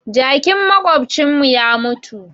Jakin maƙwabcin mu ya mutu